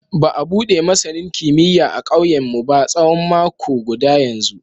Ba a bude masanini kimiyya a kauyenmu ba tsawon mako guda yanzu.